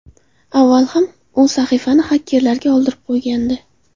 Avval ham u sahifasini hakkerlarga oldirib qo‘ygandi.